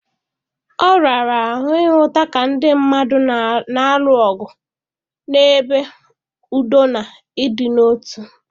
Ọ rara ahụ ịhụta ka ndị mmadụ na-alụ ọgụ n’ebe udo na ịdị n’otu dị